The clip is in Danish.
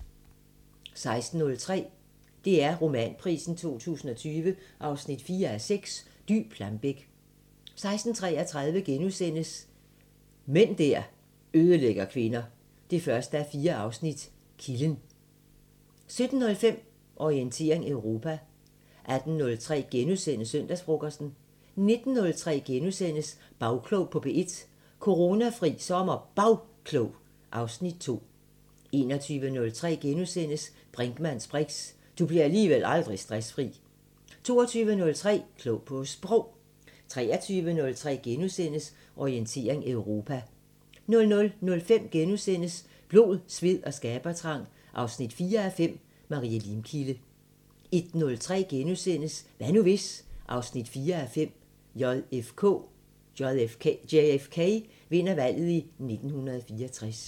16:03: DR Romanprisen 2020 4:6 – Dy Plambeck 16:33: Mænd der ødelægger kvinder 1:4 – Kilden * 17:05: Orientering Europa 18:03: Søndagsfrokosten * 19:03: Bagklog på P1: Coronafri SommerBagklog (Afs. 2)* 21:03: Brinkmanns briks: Du bliver alligevel aldrig stressfri * 22:03: Klog på Sprog 23:03: Orientering Europa * 00:05: Blod, sved og skabertrang 4:5 – Marie Limkilde * 01:03: Hvad nu hvis...? 4:5 – JFK vinder valget i 1964 *